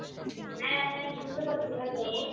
হ্যাঁ হ্যাঁ, শুনতে পাচ্ছি। hello!